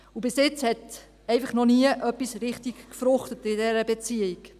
Bis jetzt hat einfach noch nie etwas richtig gefruchtet, in dieser Beziehung.